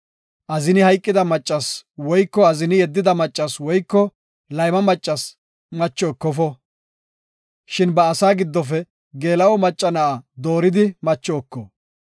Azini hayqida maccasi woyko azini yeddida maccasi woyko layma maccasi macho ekofo. Shin ba asaa giddofe geela7o macca na7a dooridi macho eko.